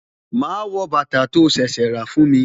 Ma wọ bàtà tó ṣẹ̀ṣẹ̀ rà fún mi